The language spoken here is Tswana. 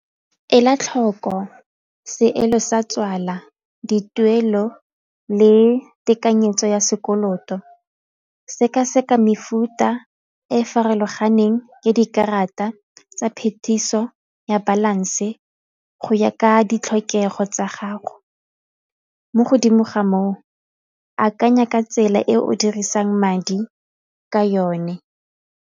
Ela tlhoko seelo sa tswala, dituelo le tekanyetso ya sekoloto, sekaseka mefuta e farologaneng ya dikarata tsa phetiso ya balance go ya ka ditlhokego tsa gago, mo godimo ga moo akanya ka tsela e o dirisang madi ka yone.